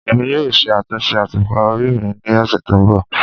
Emi yoo ṣe atunṣe atupa ori mi ni ọsẹ to nbọ